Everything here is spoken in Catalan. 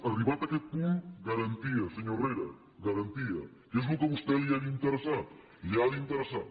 arribat aquest punt garantia senyor herrera garantia que és el que a vostè li ha d’interessar li ha d’interessar